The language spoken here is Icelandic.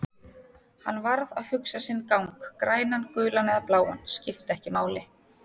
Hann varð að hugsa sinn gang, grænan, gulan eða bláan, skipti ekki máli.